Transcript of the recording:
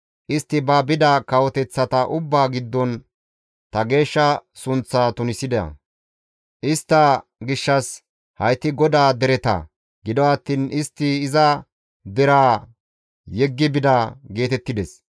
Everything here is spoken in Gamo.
Istti ba bida kawoteththata ubbaa giddon ta geeshsha sunththaa tunisida; istta gishshas, ‹Hayti GODAA dereta; gido attiin istti iza deraa yeggi bida› geetettides.